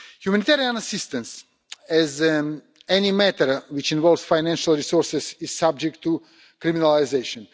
Humanitarian assistance, like any matter which involves financial resources, is subject to criminalisation.